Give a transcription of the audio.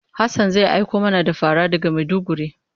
Hassan zai aiko mana da fara daga Maiduguri.